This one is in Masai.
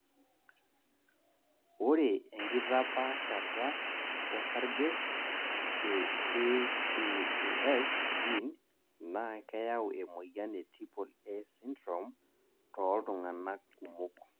Ore enkitaapashata osarge te AAAS gene naa keyau emoyaian e triple A syndrome tooltunganak kumok